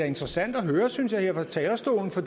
interessant at høre synes jeg her fra talerstolen for